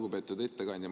Lugupeetud ettekandja!